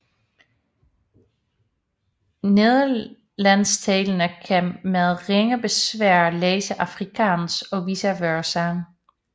Nederlandstalende kan med ringe besvær læse afrikaans og vice versa